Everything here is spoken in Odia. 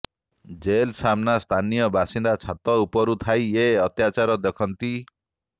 ଜେଲ୍ ସାମ୍ନା ସ୍ଥାନୀୟ ବାସିନ୍ଦା ଛାତ ଉପରୁ ଥାଇ ଏ ଅତ୍ୟାଚାର ଦେଖନ୍ତି